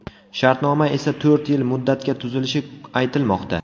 Shartnoma esa to‘rt yil muddatga tuzilishi aytilmoqda.